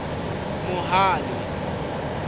mohale